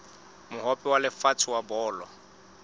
mohope wa lefatshe wa bolo